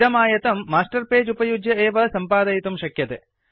इदम् आयतं master page उपयुज्य एव सम्पादयितुं शक्यते